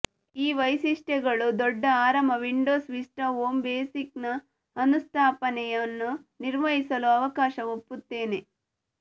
ಈ ವೈಶಿಷ್ಟ್ಯಗಳು ದೊಡ್ಡ ಆರಾಮ ವಿಂಡೋಸ್ ವಿಸ್ಟಾ ಹೋಮ್ ಬೇಸಿಕ್ ನ ಅನುಸ್ಥಾಪನೆಯನ್ನು ನಿರ್ವಹಿಸಲು ಅವಕಾಶ ಒಪ್ಪುತ್ತೇನೆ